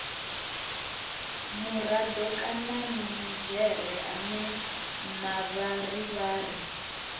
murado kana minidzhere ane mavharivhari